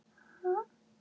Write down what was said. Það bæði gefur og tekur.